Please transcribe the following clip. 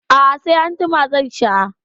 A'a sai anjima zan sha.